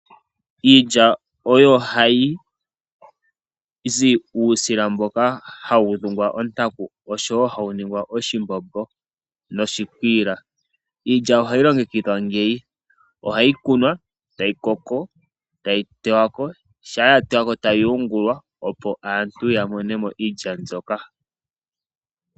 Iilya oyo hayizi uusila mboka hawu dhungwa ontanku noshowo hawuningi oshimbombo noshikwiila. Iilya ohayi longekidhwa ngeyi ohayi kunwa etayi koko, etayi tewa ko, etayi yungulwa opo aantu yamone mo iilya ndyoka.